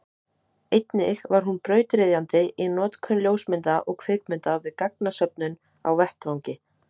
einnig var hún brautryðjandi í notkun ljósmynda og kvikmynda við gagnasöfnun á vettvangi